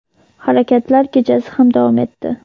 harakatlar kechasi ham davom etdi.